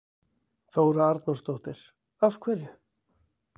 Þóra Arnórsdóttir: Af hverju?